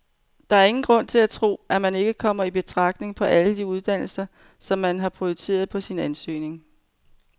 Der er ingen grund til at tro, at man ikke kommer i betragtning på alle de uddannelser, som man har prioriteret på sin ansøgning.